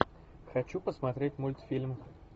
хочу посмотреть мультфильм